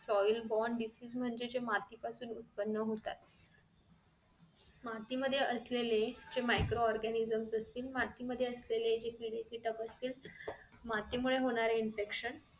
soil bond disease म्हणजे जे माती पासून उत्पन्न होतात माती मध्ये असलेले जे micro organisome असतील मातीमध्ये असलेले जे किडेकीटक असतील मातीमुळे होणारे infection